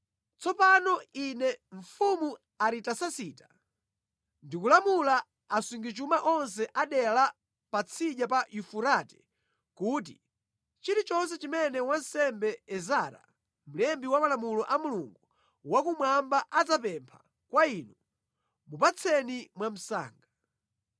Tsopano Ine, mfumu Aritasasita, ndikulamula asungichuma onse a dera la Patsidya pa Yufurate kuti, chilichonse chimene wansembe Ezara, mlembi wa malamulo a Mulungu Wakumwamba adzapempha kwa inu, mupatseni mwa msanga.